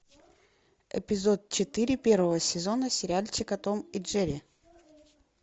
эпизод четыре первого сезона сериальчика том и джерри